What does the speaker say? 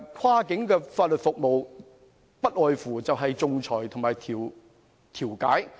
跨境法律服務所涉及的，不外乎是仲裁和調解。